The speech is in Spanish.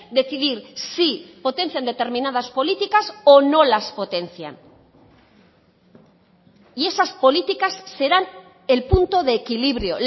decidir si potencian determinadas políticas o no las potencian y esas políticas serán el punto de equilibrio